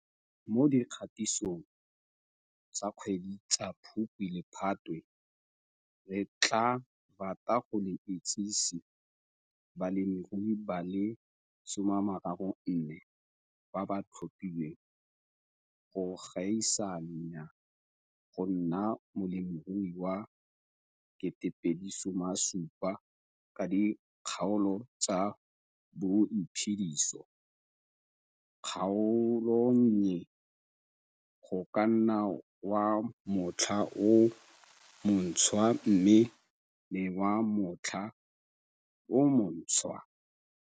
Mo dikgatisong tsa dikgwedi tsa Phukwi le Phatwe re tlaa rata go le itsese balemirui ba le 34 ba ba tlhophilweng go gaisanya go nna molemirui wa 2017 ka dikgaolo tsa Boiphediso, Kgaolonnye, Go ka nna wa Motlha o Montshwa mme le wa Motlha o Montshwa.